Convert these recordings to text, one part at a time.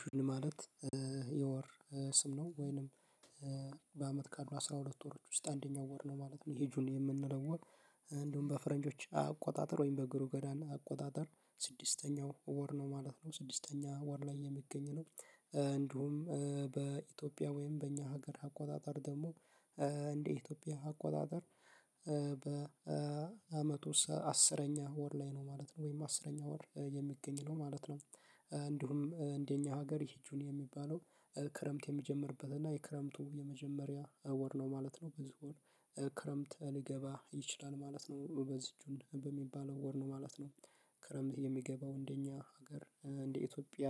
ጁን ማለት የወር ስም ነው ወይንም በአመት ካሉ አስራ ሁለት ወሮች ውስጥ አንደኛው ወር ነው ማለት ነው። ይሄ ጁኒ የምንለው ወር። እንደውም በፈረንጆች አቆጣጠር ወይም በግሩ ገዳን አቆጣጠር ስድስተኛው ወር ነው ማለት ነው። ስድስተኛው ወር ላይ የሚገኝ ነው እንዲሁም በኢትዮጵያ ወይም በእኛ ሀገር አቆጣጠር ደግሞ። እንደ ኢትዮጵያ አቆጣጠር በአመቱ አስረኛ ወር ላይ ነው ማለት ነው ወይም አስረኛ ወር የሚገኝ ነው ማለት ነው። እንዲሁም እንደኛ ሀገር ይሄ ጁኒ የሚባለው ክረምት የሚጀምርበት እና የክረምቱ የመጀመሪያ ወር ነው ማለት ነው። በዚህ ወር ክረምት ሊገባ ይችላል ማለት ነው። በዚህ እጁን በሚባለው ወር ነው ማለት ነው። ክረምት የሚገባው እንደኛ ሀገር እንደ ኢትዮጵያ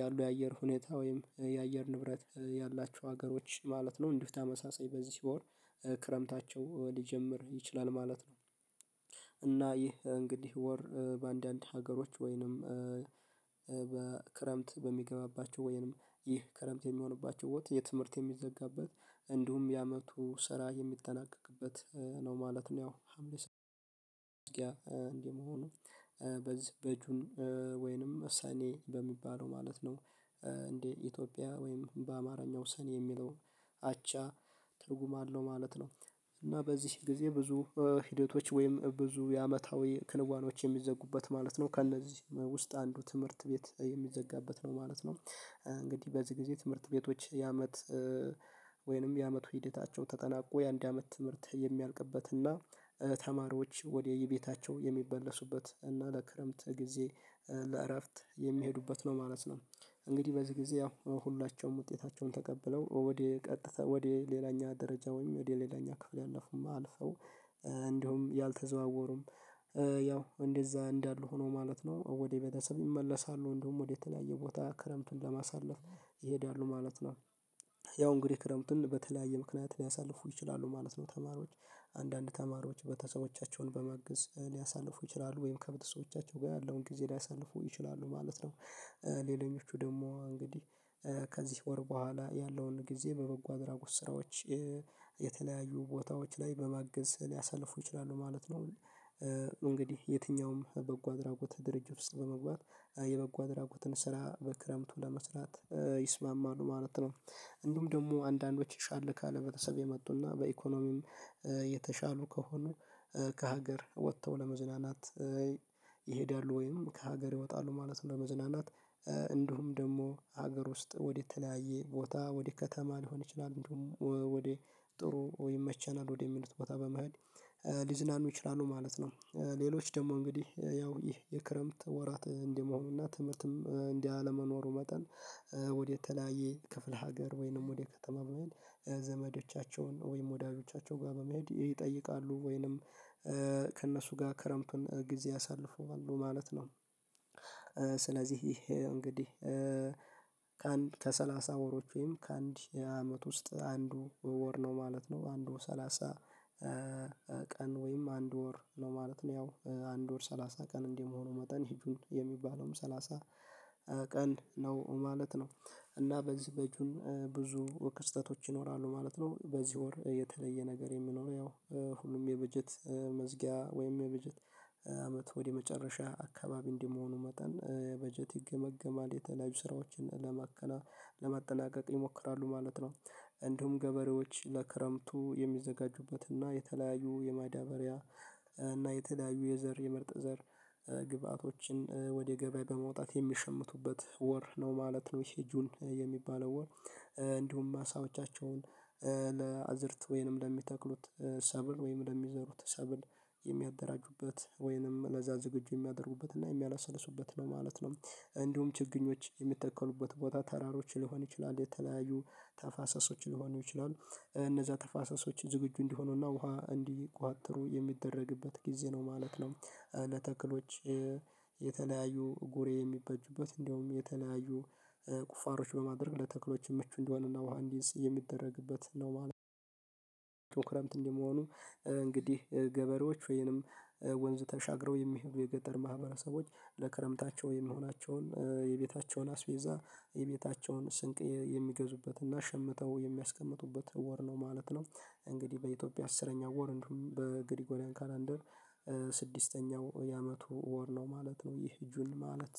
ያሉ የአየር ሁኔታ ወይም የአየር ንብረት ያላቸው ሀገሮች ማለት ነው። እንዲህ ተመሳሳይ በዚህ ሲሆን ክረምታቸው ሊጀምር ይችላል ማለት ነው። እና ይህ እንግዲህ ወር በአንዳንድ ሀገሮች ወይንም በክረምት በሚገባባቸው ወይንም ይህ ክረምት የሚሆንባቸው የትምህርት የሚዘጋበት እንዲሁም ያመቱ ስራ የሚጠናቀቅበት ነው ማለት ነው። ያው ሀምሌ ሰው ያ እንዲህ መሆኑ በዚህ ወይንም ሰኔ በሚባለው ማለት ነው። እንዴ ኢትዮጵያ ወይም በአማርኛ ሰኔ የሚለው አቻ ትርጉም አለው ማለት ነው። እና በዚህ ጊዜ ብዙ ሂደቶች ወይም ብዙ የአመታዊ ክንዋኔዎች የሚዘጉበት ማለት ነው ከእነዚህ ውስጥ አንዱ ትምህርት ቤት የሚዘጋበት ነው ማለት ነው። እንግዲህ በዚህ ጊዜ ትምህርት ቤቶች የአመት ወይንም የአመቱ ሂደታቸው ተጠናቆ የአንድ አመት ትምህርት የሚያልቅበትና ተማሪዎች ወደ የቤታቸው የሚመለሱበት እና ለክረምት ጊዜ ለእረፍት የሚሄዱበት ነው ማለት ነው። እንግዲህ በዚህ ጊዜ ያው ሁላችንም ውጤታቸውን ተቀብለው ወደ ቀጥተው ወደ ሌላኛ ደረጃ ወይም ወደ ሌላኛ ክፍል ያለፉም አልፈው። እንዲሁም ያልተዘዋወሩም ያው እንደዛ እንዳሉ ሆኖ ማለት ነው። ወደ ቤተሰብ ይመለሳሉ እንደውም ወደ የተለያየ ቦታ ክረምቱን ለማሳለፍ ይሄዳሉ ማለት ነው። ያው እንግዲህ ክረምቱን በተለያየ ምክንያት ሊያሳልፉ ይችላሉ ማለት ነው። ተማሪዎች አንዳንድ ተማሪዎች በተሰቦቻቸውን በማገዝ ሊያሳልፉ ይችላሉ ወይም ከቤተሰቦቻቸው ጋር ያለውን ጊዜ ሊያሳንፉ ይችላሉ ማለት ነው። ሌላኞቹ ደግሞ እንግዲህ ከዚህ ወር በኋላ ያለውን ጊዜ በበጎ አድራጎት ስራዎች የተለያዩ ቦታዎች ላይ በማገዝ ሊያሳልፉ ይችላሉ ማለት ነው። እንግዲህ የትኛውም በጎ አድራጎት ድርጅት ውስጥ በመግባት የበጎ አድራጎትን ስራ በክረምቱ ለመስራት ይስማማሉ ማለት ነው። እንዲሁም ደግሞ አንዳንዶች ይሻል ካለ ቤተሰብ የመጡና በኢኮኖሚም የተሻሉ ከሆኑ ከሀገር ወጥተው ለመዝናናት ይሄዳሉ ወይም ከሀገር ይወጣሉ ማለት ነው። ለመዝናናት እንዲሁም ደግሞ ሀገር ውስጥ ወደተለያየ ቦታ ወደ ከተማ ሊሆን ይችላል እንደውም ወደ ጥሩ ወይም ይመቸናል ወደ የሚሉት ቦታ በመሃል ሊዝናኑ ይችላሉ ማለት ነው። ሌሎች ደግሞ እንግዲህ ያው ይህ የክረምት ወራት እንዲህ መሆኑና ትምህርትም እንዲህ አለመኖሩ መጠን ወደ ተለያየ ክፍለ ሀገር ወይንም ወደ ከተማ ዘመዶቻቸውን ወይም ወዳጆቻቸው ጋር በመሄድ ይጠይቃሉ ወይንም ከእነሱ ጋር ክረምትን ጊዜ ያሳልፋሉ ማለት ነው። ስለዚህ ይሄ እንግዲህ ከአንድ ከሰላሳ ወሮች ወይም ከአንድ አመት ውስጥ አንዱ ወር ነው ማለት ነው። አንዱ ሰላሳ ቀን ወይም አንድ ወር ነው ማለት ነው። ያው አንድ ወር ሰላሳ ቀን እንዲህ መሆኑ መጠን ጁን የሚባለውም ሰላሳ ቀን ነው ማለት ነው። እና በዚህ በጁን ብዙ ክስተቶች ይኖራሉ ማለት ነው። በዚህ ወር የተለየ ነገር የምኖረው ያው ሁሉም የበጀት መዝጊያ ወይም የበጀት አመት ወደ መጨረሻ አካባቢ እንዲሆኑ መጠን በጀት ይገመግማል የተለያዩ ስራዎችን ለማጠናቀቅ ይሞክራሉ ማለት ነው። እንዲሁም ገበሬዎች ለክረምቱ የሚዘጋጁበትና የተለያዩ የማዳበሪያ እና የተለያዩዩ የዘር የምርጥ ዘር ግብአቶችን ወደ ገበያ በመውጣት የሚሸምቱበት ወር ነው ማለት ነው። ይሄ ጁን የሚባለው ወር። እንዲሁም ማሳቦቻቸውን ለአዝርት ወይንም ለሚተክሉት ሰብል ወይንም ለሚዘሩት ሰብል የሚያደራጁበት ወይንም ለዛ ዝግጁ የሚያደርጉበት እና የሚያላሰልሱበት ነው ማለት ነው። እንዲሁም ችግኞች የሚተኮሉበት ቦታ ተራሮች ሊሆን ይችላል የተለያዩ ተፋሰሶች ሊሆኑ ይችላሉ። እነዛ ተፋሰሶች ዝግጁ እንዲሆኑና ውሃ እንዲቋጥሩ የሚደረግበት ጊዜ ነው ማለት ነው። ለተክሎች የተለያዩ ጉሬ የሚበጁበት እንደውም የተለያዩ ቁፋሮች በማድረግ ለተክሎች ምቹ እንዲሆንና መሃንዲስ የሚደረግበት ነው ማለት ነው። ክረምት እንደመሆኑ እንግዲህ ገበሬዎች ወይንም ወንዝ ተሻግረው የሚሄዱ የገጠር ማህበረሰቦች ለክረምታቸው የሚሆናቸውን የቤታቸውን አስቤዛ የቤታቸውን ስንቅ የሚገዙበትና ሸምተው የሚያስቀምጡበት ወር ነው ማለት ነው። እንግዲህ በኢትዮጵያ አስረኛ ወር እንዲሁም በግሪጎሪያን ካላንደር ስድስተኛው የአመቱ ወር ነው ማለት ነው። ይህ ጁን ማለት